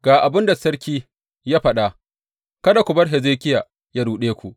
Ga abin da sarki ya faɗa; kada ku bar Hezekiya yă ruɗe ku.